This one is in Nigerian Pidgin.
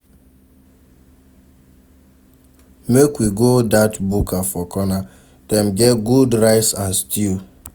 Make we go dat buka for corner, dem get good rice and stew.